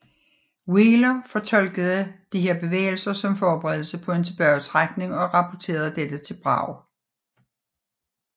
Wheeler fortolkede disse bevægelser som forberedelse på en tilbagetrækning og rapporterede dette til Bragg